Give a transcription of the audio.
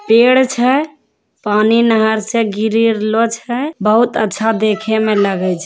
पेड़ छै पानी नहर छैगिरी रहलो छैबहुत अच्छा देखे में लगे छै।